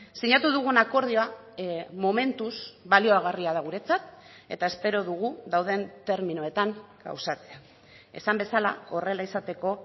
sinatu dugun akordioa momentuz baliagarria da guretzat eta espero dugu dauden terminoetan gauzatzea esan bezala horrela izateko